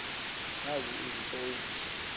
nazi izitya ezihle